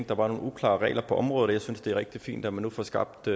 der var nogle uklare regler på området og jeg synes det er rigtig fint at man nu får skabt